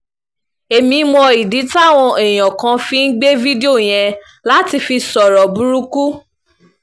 èmi mọ ìdí táwọn èèyàn kan fi ń gbé fídíò yẹn láti fi sọ ọ̀rọ̀ burúkú